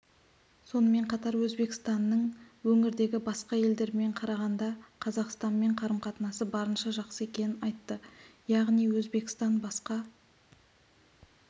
сонымен қатар өзбекстанның өңірдегі басқа елдермен қарағанда қазақстанмен қарым-қатынасы барынша жақсы екенін айтты яғни өзбекстан басқа